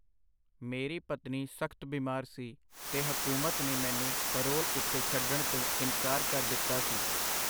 ਮੇਰੀ ਪਤਨੀ ਸਖਤ ਬੀਮਾਰ ਸੀ, ਤੇ ਹਕੂਮਤ ਨੇ ਮੈਨੂੰ ਪਰੋਲ ਉਤੇ ਛੱਡਣ ਤੋਂ ਇਨਕਾਰ ਕਰ ਦਿੱਤਾ ਸੀ.